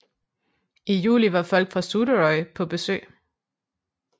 I juli var folk fra Suðuroy på besøg